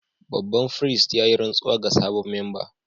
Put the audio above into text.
Babban firist ya yi rantsuwa ga sabon memba